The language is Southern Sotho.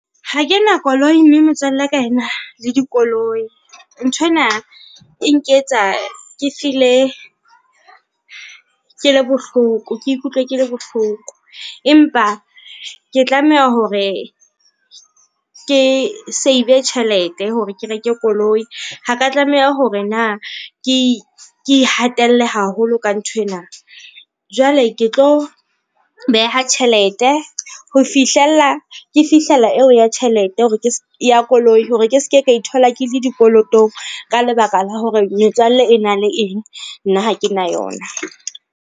Ha ke na koloi mme metswalle ya ka ena le dikoloi. Nthwena e nketsa ke feel-e ke le bohloko. Ke ikutlwe ke le bohloko, empa ke tlameha hore ke save-e tjhelete hore ke reke koloi. Ha ka tlameha hore na ke ihatelle haholo ka nthwena. Jwale ke tlo beha tjhelete ho fihlella ke fihlella eo ya tjhelete hore ke ya koloi, hore ke ske ka ithola ke le dikolotong ka lebaka la hore metswalle e na le eng, nna ha ke na yona.